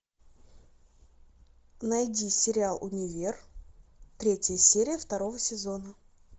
найди сериал универ третья серия второго сезона